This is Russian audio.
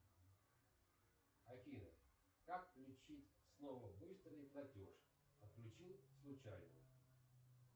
афина как включить снова быстрый платеж отключил случайно